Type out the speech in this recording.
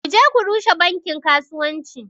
Ku je ku rushe bankin kasuwanci